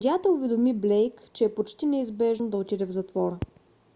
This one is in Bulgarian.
съдията уведоми блейк че е почти неизбежно да отиде в затвора